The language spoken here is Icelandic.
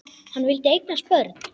Hann vildi eignast börn.